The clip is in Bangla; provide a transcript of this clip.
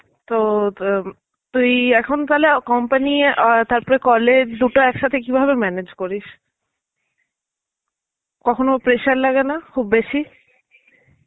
তো ত~ তুই এখন তাহলে company আ তারপরে college দুটো একসাথে কিভাবে manage করিস? কখনো pressure লাগেনা খুববেশী?